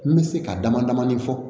N bɛ se ka damadamanin fɔ